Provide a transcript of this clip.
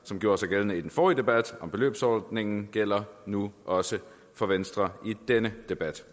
som gjorde sig gældende i den forrige debat om beløbsordningen gælder nu også for venstre i denne debat